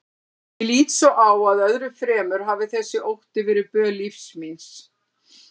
Ég lít svo á að öðru fremur hafi þessi ótti verið böl lífs míns.